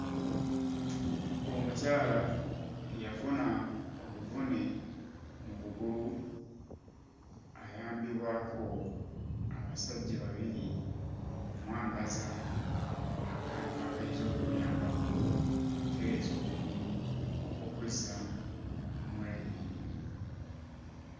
Omukyala eyafuna obuvune mu kugulu, ayambibwako abasajja babiri okumwambaza akantu akayinza okumuyambako okutereeza okugulu okukuzza mu layini.